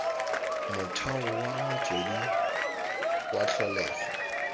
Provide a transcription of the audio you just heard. motheo wa motswedi wa tlholego